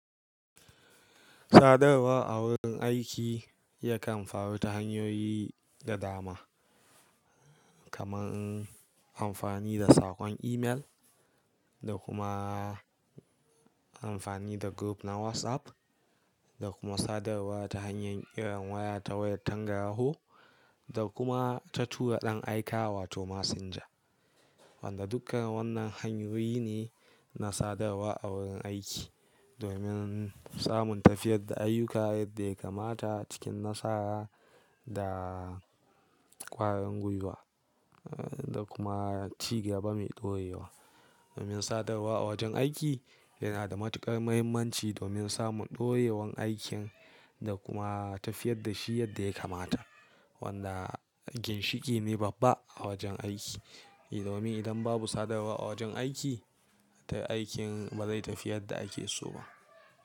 Sadarwa a wurin aiki yakan faru ta hanyoyi da dama, kamar amfani da saƙon email da kuma amfani da group na WhatsApp da kuma sadarwa ta hanyar irin waya ta wayar tangaraho da kuma ta tura ɗan aika wato messenger. Wanda dukkan wannan hanyoyi ne na sadarwa a wurin aiki domin samun tafiyar da ayyuka yadda ya kamata cikin nasara da ƙwarin gwiwa da kuma cigaba mai ɗorewa. Domin sadarwa a wajen aiki yana da matuƙar mahimmanci domin samun ɗorewan aikin da kuma tafiyar da shi yadda ya kamata. Wanda ginshiƙi ne babba a wajen aiki. Domin idan babu sadarwa a wajen aiki, to aikin ba zai tafi yadda ake so ba.